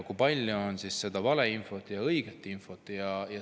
Kui palju on siis valeinfot ja õiget infot?